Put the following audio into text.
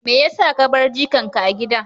Me ya sa ka bar jikanka a gida?